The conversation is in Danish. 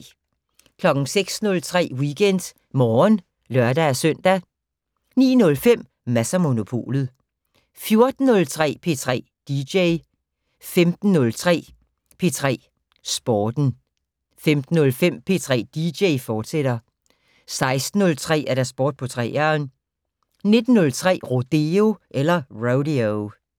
06:03: WeekendMorgen (lør-søn) 09:05: Mads & Monopolet 14:03: P3 dj 15:03: P3 Sporten 15:05: P3 dj, fortsat 16:03: Sport på 3'eren 19:03: Rodeo